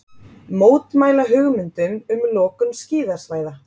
Mótmæla hugmyndum um lokun skíðasvæða